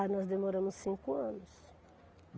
Aí nós demoramos cinco anos.